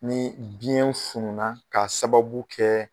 Ni biyɛn fununna k'a sababu kɛ